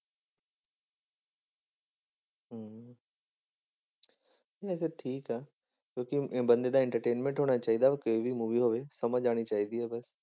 ਇਹ ਤੇ ਠੀਕ ਆ ਕਿਉਂਕਿ ਬੰਦੇ ਦਾ entertainment ਹੋਣਾ ਚਾਹੀਦਾ ਕੋਈ ਵੀ movie ਹੋਵੇ, ਸਮਝ ਆਉਣੀ ਚਾਹੀਦਾ ਬਸ।